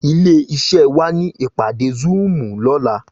Ilé iṣè wá ni ipàdé zùúm lòlá